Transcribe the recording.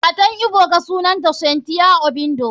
Matan ebuka sunanta cynthia obiando.